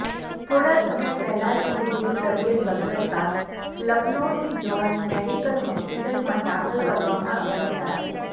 થોડા સમય પહેલા જ તેમની તબિયત બગડતા લખનૌની જોર્જ મેડિકલ હોસ્પિટલમાં દાખલ કરવામાં આવ્યા હતા